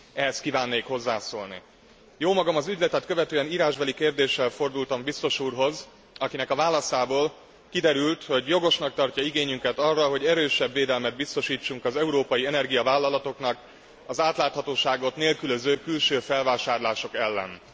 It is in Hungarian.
Ehhez kívánnék hozzászólni. Jómagam az ügyletet követően írásbeli kérdéssel fordultam biztos úrhoz, akinek a válaszából kiderült, hogy jogosnak tartja igényünket arra, hogy erősebb védelmet biztosítsunk az európai energiavállalatoknak az átláthatóságot nélkülöző külső felvásárlások ellen.